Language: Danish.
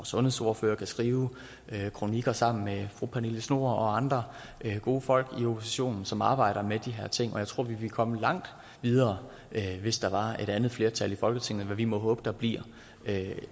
sundhedsordfører kan skrive kronikker sammen med fru pernille schnoor og andre gode folk i oppositionen som arbejder med de her ting og jeg tror vi ville komme langt videre hvis der var et andet flertal i folketinget hvad vi må håbe der bliver